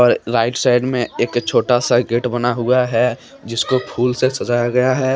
Right side में एक छोटा सा गेट बना हुआ है जिसको फूल से सजाया गया है।